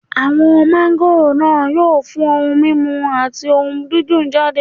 Àwọn máńgòrò náà yóò fún ohun mímu àdídùn jáde.